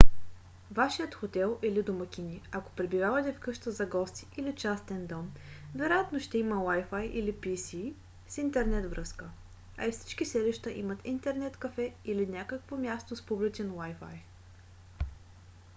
вашият хотел или домакини ако пребивавате в къща за гости или частен дом вероятно ще има wifi или pc с интернет връзка а и всички селища имат интернет кафе или някакво място с публичен wifi